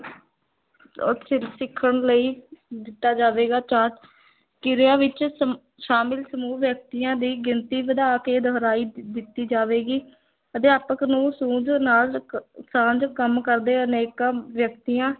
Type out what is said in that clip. ਸਿੱਖਣ ਲਈ ਦਿੱਤਾ ਜਾਵੇਗਾ ਚਾਰਟ ਕਿਰਿਆ ਵਿੱਚ ਸ਼ਮ ਸ਼ਾਮਿਲ ਸਮੂਹ ਵਿਅਕਤੀਆਂ ਦੀ ਗਿਣਤੀ ਵਧਾ ਕੇ ਦੁਹਰਾਈ ਦ ਦਿੱਤੀ ਜਾਵੇਗੀ, ਅਧਿਆਪਕ ਨੂੰ ਸੂਝ ਨਾਲ ਇੱਕ ਸਾਂਝ ਕੰਮ ਕਰਦੇ ਅਨੇਕਾਂ ਵਿਅਕਤੀਆਂ